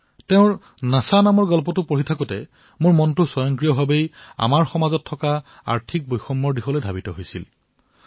যেতিয়া মই তেওঁ লিখা নিচা নামৰ কাহিনীটো পঢ়ি আছিলো তেতিয়া মোৰ মন নিজে নিজেই সমাজত ব্যাপ্ত আৰ্থিক বৈষম্যতাৰ দিশলৈ গুচি গল